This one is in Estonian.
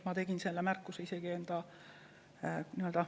Ma tegin selle kohta isegi märkuse.